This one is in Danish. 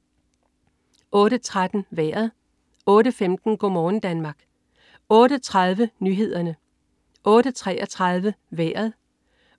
08.13 Vejret (man-fre) 08.15 Go' morgen Danmark (man-fre) 08.30 Nyhederne (man-fre) 08.33 Vejret